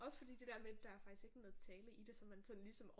Også fordi det der med der er faktisk ikke noget tale i det som man sådan ligesom